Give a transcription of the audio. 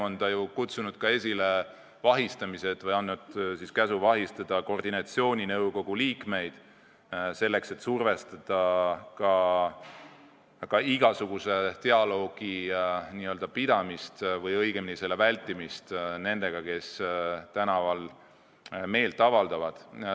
Ta on kutsunud esile vahistamised või siis andnud käsu vahistada koordinatsiooninõukogu liikmeid, selleks et survestada ka igasuguse dialoogi vältimist nendega, kes tänaval meelt avaldavad.